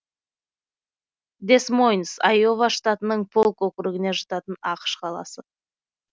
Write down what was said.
дэс мойнс айова штатының полк округіне жататын ақш қаласы